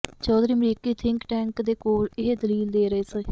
ਚੌਧਰੀ ਅਮਰੀਕੀ think tank ਦੇ ਕੋਲ ਇਹ ਦਲੀਲ ਦੇ ਰਹੇ ਸੀ